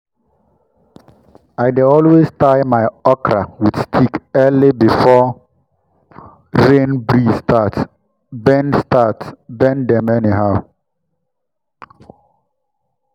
i dey always tie my okra with stick early before rain breeze start bend start bend dem anyhow.